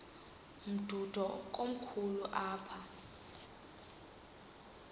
umdudo komkhulu apha